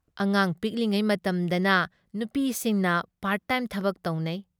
ꯑꯉꯥꯡ ꯄꯤꯛꯂꯤꯉꯩ ꯃꯇꯝꯗꯅ ꯅꯨꯄꯤꯁꯤꯡꯅ ꯄꯥꯔꯠ ꯇꯥꯏꯝ ꯊꯕꯛ ꯇꯧꯅꯩ ꯫